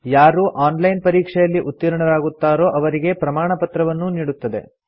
ಯಾರು online ಪರೀಕ್ಷೆಯಲ್ಲಿ ಉತ್ತೀರ್ಣರಾಗುತ್ತಾರೋ ಅವರಿಗೆ ಪ್ರಮಾಣಪತ್ರವನ್ನೂ ನೀಡುತ್ತದೆ